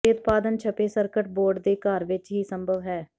ਦੇ ਉਤਪਾਦਨ ਛਪੇ ਸਰਕਟ ਬੋਰਡ ਦੇ ਘਰ ਵਿਚ ਹੀ ਸੰਭਵ ਹੈ